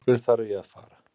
Af hverju þarf ég að fara?